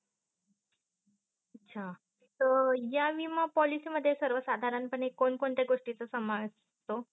अचा. या विमा पोलिसी मध्ये सर्व साधारण पाने कोण कोणते गोष्टींचा समावेस असत?